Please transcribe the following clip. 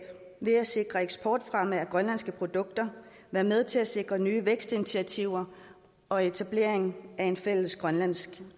ved at sikre eksportfremme af grønlandske produkter være med til at sikre nye vækstinitiativer og etablering af en fælles grønlandsk